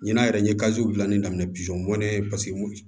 Ɲinan yɛrɛ n ye dilanni daminɛ mɔnnen ye paseke mɔ